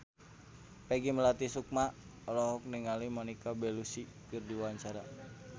Peggy Melati Sukma olohok ningali Monica Belluci keur diwawancara